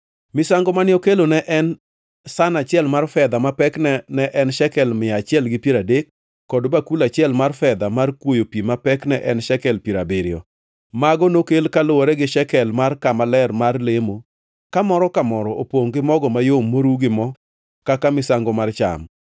Misango mane okelo ne en san achiel mar fedha ma pekne ne en shekel mia achiel gi piero adek, kod bakul achiel mar fedha mar kwoyo pi ma pekne en shekel piero abiriyo. Mago nokel kaluwore gi shekel mar kama ler mar lemo, ka moro ka moro opongʼ gi mogo mayom moru gi mo kaka misango mar cham;